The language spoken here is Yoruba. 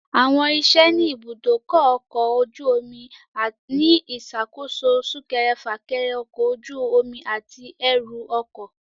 Àwọn iṣẹ́ ni ibùdó ọkọ̀ ojú omi ni ìṣàkóso súnkẹrẹ - fákẹrẹ ọkọ̀ ojú omi àti ẹrù ọkọ̀